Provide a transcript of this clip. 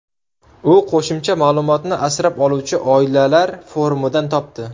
U qo‘shimcha ma’lumotni asrab oluvchi oilalar forumidan topdi.